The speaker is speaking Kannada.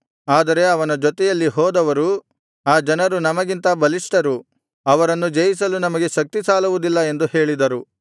ಆದರೆ ಅವನ ಜೊತೆಯಲ್ಲಿ ಹೋದವರು ಆ ಜನರು ನಮಗಿಂತ ಬಲಿಷ್ಠರು ಅವರನ್ನು ಜಯಿಸಲು ನಮಗೆ ಶಕ್ತಿಸಾಲುವುದಿಲ್ಲ ಎಂದು ಹೇಳಿದರು